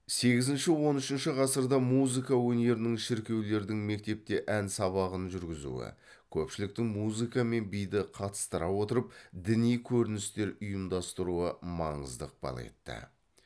сегізінші он үшінші ғасырда музыка өнерінің шіркеулердің мектепте ән сабағын жүргізуі көпшіліктің музыка мен биді қатыстыра отырып діни көріністер ұйымдастыруы маңызды ықпал етті